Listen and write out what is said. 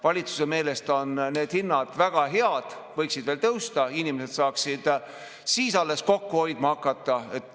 Valitsuse meelest on need hinnad väga head, võiksid veel tõusta, inimesed saaksid siis kokku hoidma hakata.